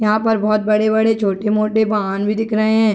यहाँ पर बहुत बड़े-बड़े छोटे मोटे वाहन भी दिख रहे हैं ।